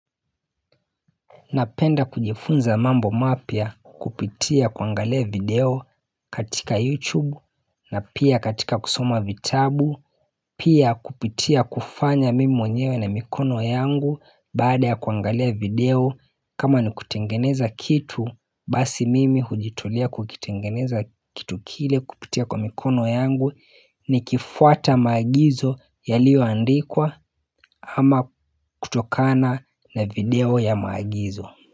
Napenda kujifunza mambo mapya kupitia kuangalia video katika youtube na pia katika kusoma vitabu Pia kupitia kufanya mimi mwenyewe na mikono yangu baada ya kuangalia video kama ni kutengeneza kitu basi mimi hujitolea kukitengeneza kitu kile kupitia kwa mikono yangu nikifuata maagizo yalio andikwa ama kutokana na video ya maagizo.